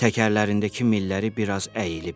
Təkərlərindəki milləri bir az əyilib.